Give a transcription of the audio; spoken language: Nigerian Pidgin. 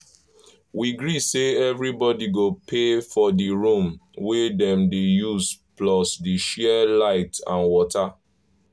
we gree say everybody go pay for di room wey dem dey use plus di shared light and water.